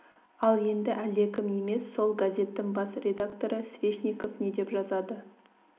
ал енді әлдекім емес сол газеттің бас редакторы свешников не деп жазады